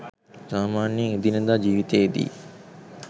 සාමාන්‍යයෙන් එදිනෙදා ජීවිතයේදී